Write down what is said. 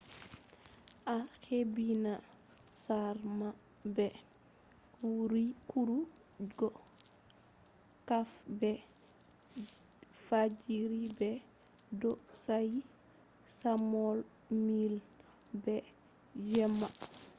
a hebbina saare ma be kurugo kafe be fajjiri be bo'o saayi chamomile be jemma